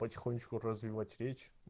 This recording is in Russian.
потихонечку развивать речь